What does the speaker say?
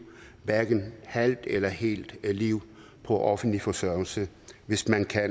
hverken et halvt eller et helt liv på offentlig forsørgelse hvis man kan